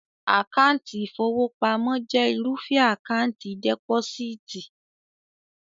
Àkáńtì ìfowópamọ́ jẹ́ irúfẹ́ Àkáńtì dẹ́pósíìtì